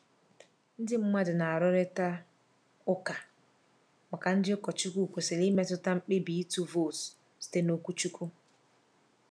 Ndị mmadụ na-arụrịta ụka ma ndị ụkọchukwu kwesịrị imetụta mkpebi ịtụ vootu site n’okwuchukwu.